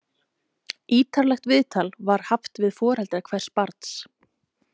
Ítarlegt viðtal var haft við foreldra hvers barns.